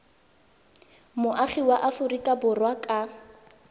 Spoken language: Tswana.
moagi wa aforika borwa ka